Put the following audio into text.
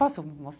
Posso ir